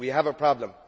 We have a problem.